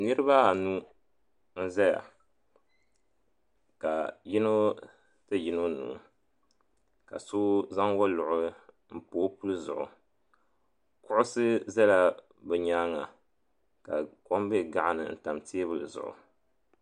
Niriba anu n zaya ka yino ti yino nuu ka so zaŋ woluɣu mpa o puli zuɣu kuɣusi zala bɛ nyaanga ka kom be gaɣani n tam teebuli zuɣu